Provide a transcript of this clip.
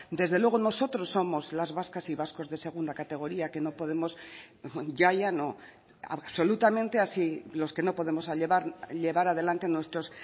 desde luego nosotros somos las vascas y vascos de segunda categoría que no podemos ya ya no absolutamente así los que no podemos llevar adelante nuestros